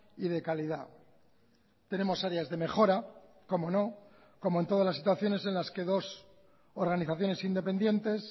y de calidad tenemos áreas de mejora cómo no como en todas las situaciones en las que dos organizaciones independientes